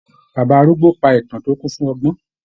Bàbá arúgbó pa ìtàn tó kún fún ọgbọ́n.